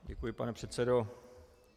Děkuji, pane předsedo.